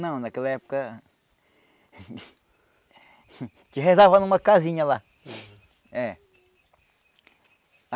Não, naquela época... A gente rezava numa casinha lá. É